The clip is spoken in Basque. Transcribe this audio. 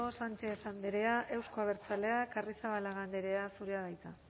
sánchez andrea euzko abertzaleak arrizabalaga andrea zurea da hitza